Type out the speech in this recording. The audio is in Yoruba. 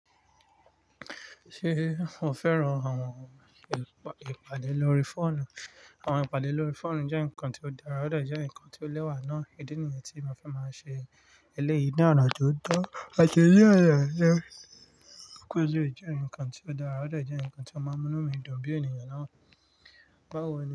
Ṣé o fẹ́ràn àwọn ìpàdé lórí fóònù? Àwọn ìpàdé lórí fóònù jẹ́ ǹkan tí ó dára, ó dẹ jẹ ǹkan tí ó lẹ́wà ná. Idí nìyi tí mo fi máa nṣe eléyìí ní ọ̀nà tó tọ́ọ̀tọ̀. Ìdí nìyẹn jẹ́ pé ó jẹ́ ǹkan tí ó dára, ó dà jẹ ǹkan tí ó máa mú inú mi dùn bí ènìyàn náà bá wẹ̀